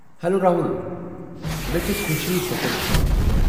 Hello, Rahul! مےٚ چھےٚ خوٚشی ژےٚ کوٚرُتھ فون۔